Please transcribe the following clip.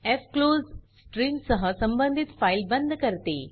फ्क्लोज stream सह संबंधित file बंद करते